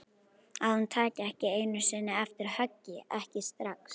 Að hún taki ekki einu sinni eftir höggi, ekki strax.